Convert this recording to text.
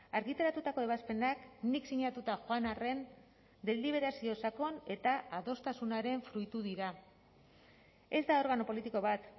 argitaratutako ebazpenak nik sinatuta joan arren deliberazio sakon eta adostasunaren fruitu dira ez da organo politiko bat